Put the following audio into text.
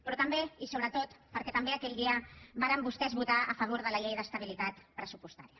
però també i sobretot per què també aquell dia varen vostès votar a favor de la llei d’estabilitat pressupostària